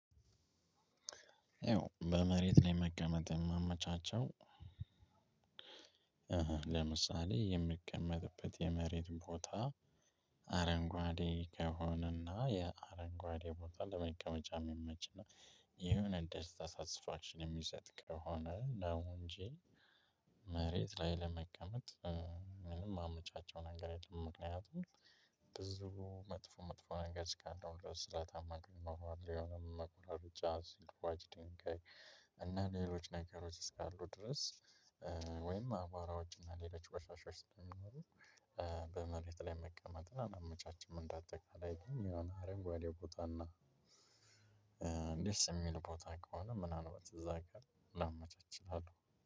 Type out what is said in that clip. ያው በመሬት ላይ መቀመጥ የማመቻቸው። ለምሳሌ የምቀመጥበት የመሬት ቦታ አረንጓዴ ከሆነና ያ አረንጓዴ ቦታ ለመቀመጫ እሚመች እና የሆነ ደስታ ሳትስፋክሽን የሚሰጥ ከሆነ ነው እንጂ። መሬት ላይ ለመቀመጥ ምንም እማመቻቸው ነገር የለም። ምክንያቱም ብዙ መጥፎ መጥፎ ነገር እስካለው ድረስ ስለታም ነገር ይኖረዋል የሆነው መቁራረጫ ሲልፉጭ ድንጋይ እና ሌሎች ነገሮች እስካሉ ድረስ ወይም አቧራዎች እና ሌሎች ቆሻሻዎች ስንኖር በመሬት ላይ መቀመጥን አላመቻችም። እንዳጠቃላይ ግን የሆነ አረንጓዴ ቦታና ደስ እሚል ቦታ ከሆነ ምናልባት እዛ ጋር ላመቻች እችላለሁ።